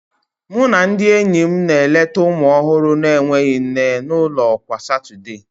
Mụ na ndị enyi m na-eleta ụmụ ọhụrụ na-enweghị nne n'ụlọ kwa Satọde